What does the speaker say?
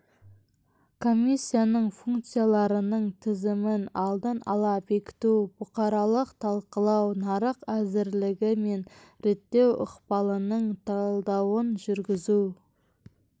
комиссияның функцияларының тізімін алдын ала бекіту бұқаралық талқылау нарық әзірлігі мен реттеу ықпалының талдауын жүргізу